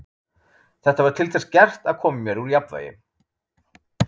Þetta var til þess gert að koma mér úr jafnvægi.